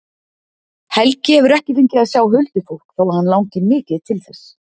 Helgi hefur ekki fengið að sjá huldufólk þó að hann langi mikið til þess.